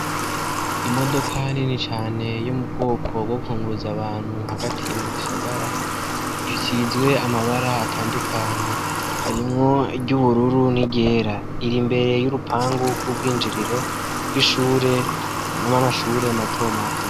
Imodoka nini cane yo m'ubwoko bwo kunguruza abantu hagati mu gisagara, isizwe amabara atandukanye harimwo iry'ubururu, niryera, iri imbere y'urupangu rw'urwinjiriro bw'ishure amashure mato mato.